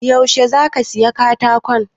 Yaushe za ka saya katakon?